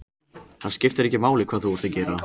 Það skiptir ekki máli hvað þú ert að gera.